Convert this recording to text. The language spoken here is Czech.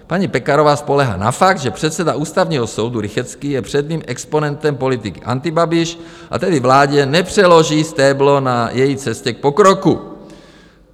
Paní Pekarová spoléhá na fakt, že předseda Ústavního soudu Rychetský je předním exponentem politiky antibabiš, a tedy vládě nepřeloží stéblo na její cestě k pokroku.